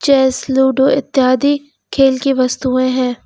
Chess ludo इत्यादि खेल की वस्तुएं हैं।